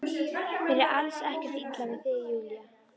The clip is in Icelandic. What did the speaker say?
Mér er alls ekkert illa við þig Júlía.